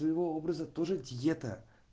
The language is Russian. его образа тоже диета